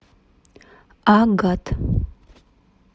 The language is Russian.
агат